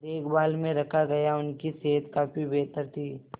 देखभाल में रखा गया उनकी सेहत काफी बेहतर थी